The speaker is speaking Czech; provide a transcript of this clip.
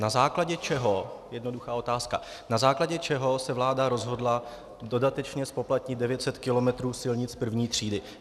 Na základě čeho - jednoduchá otázka - na základě čeho se vláda rozhodla dodatečně zpoplatnit 900 kilometrů silnic první třídy.